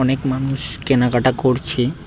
অনেক মানুষ কেনাকাটা করছে।